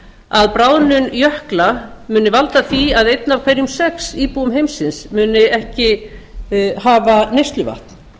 að bráðnun jökla muni valda því að einn af hverjum sex íbúum heimsins muni ekki hafa neysluvatn